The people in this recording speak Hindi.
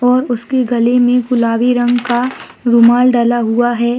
और उसके गले मे गुलाबी रंग का रुमाल डाला हुआ है।